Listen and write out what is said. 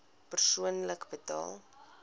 persoonlik betaal